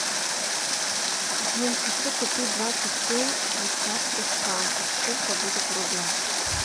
джой хочу купить двадцать семь швейцарских франков сколько будет в рублях